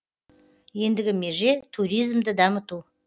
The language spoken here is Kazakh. ендігі меже туризмді дамыту